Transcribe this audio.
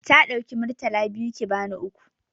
Ta ɗauki Murtala biyu ki bani uku.